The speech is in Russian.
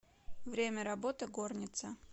время работы горница